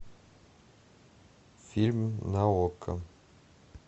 фильм на окко